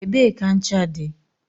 Ebee ka ncha dị?